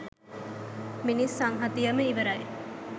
මිනිස් සංහතියම ඉවරයි